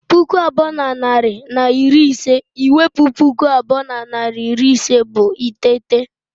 Puku abụọ na narị na iri ise I wepu puku abụọ na narị na iri ise bụ iteghete